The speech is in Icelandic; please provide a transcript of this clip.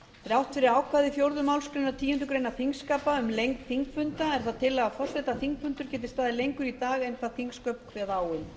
þrátt fyrir ákvæði fjórðu málsgreinar tíundu greinar þingskapa um lengd þingfunda er það tillaga forseta að þingfundur geti staðið lengur í dag en þingsköp kveða